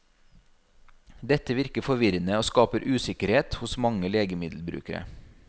Dette virker forvirrende og skaper usikkerhet hos mange legemiddelbrukere.